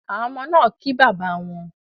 Àwọn ọmọ náa kí bàbá wón